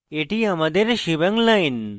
এটি আমাদের shebang line